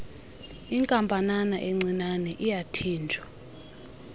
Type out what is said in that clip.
inkampanana encinane uyathinjwa